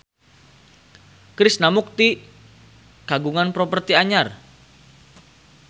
Krishna Mukti kagungan properti anyar